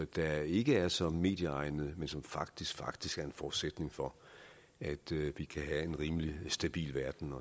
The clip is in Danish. der ikke er så medieegnede men som faktisk faktisk er en forudsætning for at vi kan have en rimelig stabil verden at